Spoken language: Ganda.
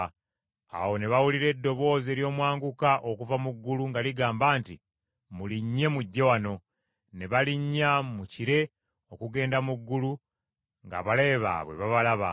Awo ne bawulira eddoboozi ery’omwanguka okuva mu ggulu nga ligamba nti, “Mulinnye mujje wano.” Ne balinnya mu kire okugenda mu ggulu ng’abalabe baabwe babalaba.